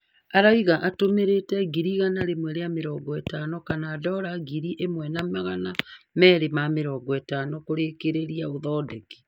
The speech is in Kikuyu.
Arauga atũmĩrite ngiri igana rĩmwe rĩa mĩrongo ĩtano kana dollar ngiri ĩmwe na magana meri ma mĩrongo ĩtano kũrĩkĩrĩria ũthondeki